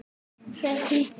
Þeir hlýddu.